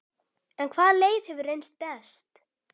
En hvaða leið hefur reynst best?